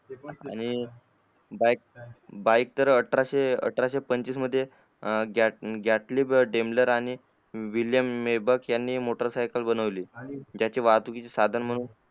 आणि बाईक त अठराशे अठराशे पंचवीस मध्ये विलियम नेबक यांनी सायकल बनवली त्याचे वाहतुकीचे साधन